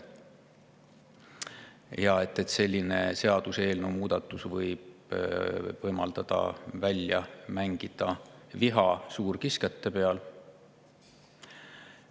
Selline seaduseelnõu võib võimaldada viha suurkiskjate peal välja.